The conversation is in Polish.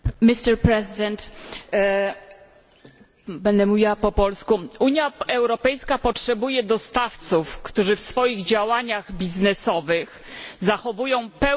Unia Europejska potrzebuje dostawców, którzy w swoich działaniach biznesowych zachowują pełną przejrzystość i którzy wywiązują się ze zobowiązań.